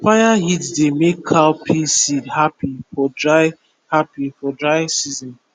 fire heat dey make cowpea seed happy for dry happy for dry season